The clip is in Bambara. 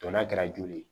Dɔn n'a kɛra joli ye